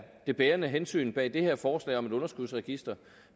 det bærende hensyn bag det her forslag om et underskudsregister